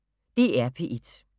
DR P1